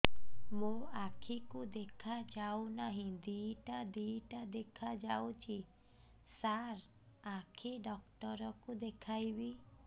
ମୋ ଆଖିକୁ ଦେଖା ଯାଉ ନାହିଁ ଦିଇଟା ଦିଇଟା ଦେଖା ଯାଉଛି ସାର୍ ଆଖି ଡକ୍ଟର କୁ ଦେଖାଇବି